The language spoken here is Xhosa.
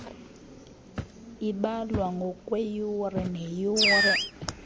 ibalwa ngokweyure neyure